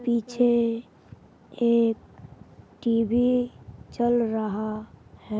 पीछे एक टीवी चल रहा है।